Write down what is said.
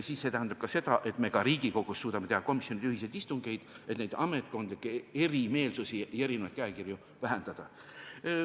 Ja see tähendab ka seda, et me Riigikogus suudame teha komisjonide ühiseid istungeid, et ametkondlikku erimeelsust vähendada ja erinevaid käekirju ühtlustada.